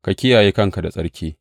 Ka kiyaye kanka da tsarki.